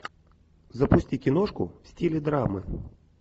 запусти киношку в стиле драмы